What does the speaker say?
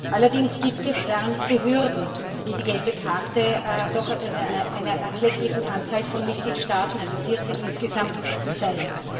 Allerdings gibt es ernste Hürden, wie die gelbe Karte aus einer doch erklecklichen Anzahl von Mitgliedstaaten also 14 insgesamt zeigt.